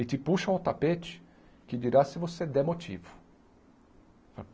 e te puxam ao tapete que dirá se você der motivo.